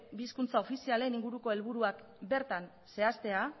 bi hizkuntza ofizialen inguruko helburuak bertan zehaztea